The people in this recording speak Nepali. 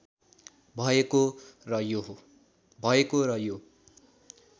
भएको र यो